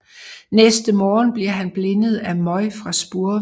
Næste morgen bliver han blindet af møg fra spurve